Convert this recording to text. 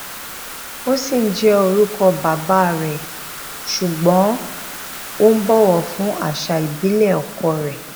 ó ṣì ń jé orúkọ bàbá rẹ sugbon ó ń bòwò fún àṣà ìbílè ọkọ rè